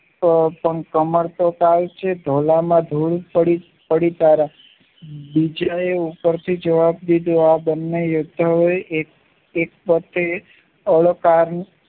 તો પણ કમર તો થાય છે ધોળા માં ધૂળ પડી ત્યારે બીજા એ ઉપરથી જવાબ દીધો આ બંને એકતાએ એક સાથે અલંકારની